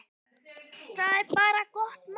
Það er bara gott mál.